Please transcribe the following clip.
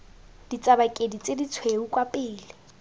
ditsabakedi tse ditshweu kwa pele